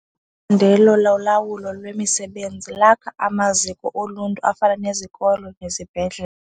ndelo lolawulo lwemisebenzi lakha amaziko oluntu afana nezikolo nezibhedlele.